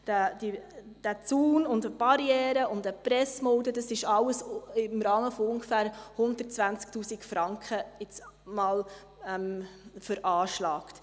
Die- ser Zaun, die Barriere und eine Pressmulde, das alles ist jetzt einmal im Rahmen von ungefähr 120 000 Franken veranschlagt.